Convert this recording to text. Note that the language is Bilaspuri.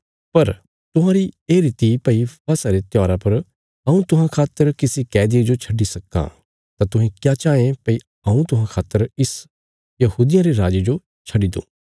पर तुहांरी ये रीति भई फसह रे त्योहारा पर हऊँ तुहां खातर किसी कैदिये जो छड्डी सक्कां तां तुहें क्या चाँये भई हऊँ तुहां खातर इस यहूदियां रे राजे जो छड्डी दूँ